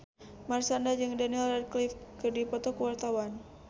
Marshanda jeung Daniel Radcliffe keur dipoto ku wartawan